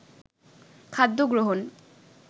খাদ্য গ্রহণ